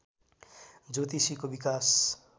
ज्योतिषीको विकास